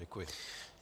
Děkuji.